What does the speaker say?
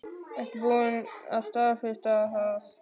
Er búið að staðfesta það?